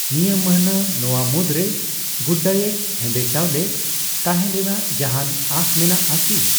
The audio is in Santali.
ᱱᱤᱭᱟᱹ ᱢᱟᱹᱱᱦᱟᱹ ᱱᱚᱣᱟ ᱢᱩᱫᱽᱨᱮ ᱜᱩᱰᱰᱟᱭᱮᱴ ᱦᱮᱸᱫᱮ ᱪᱟᱣᱞᱮ ᱛᱟᱦᱮᱱ ᱨᱮᱱᱟᱜ ᱡᱟᱦᱟᱱ ᱟᱥ ᱢᱮᱱᱟᱜ ᱟᱠᱤ ?